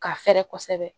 K'a fɛrɛ kosɛbɛ